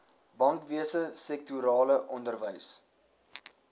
bankwese sektorale onderwys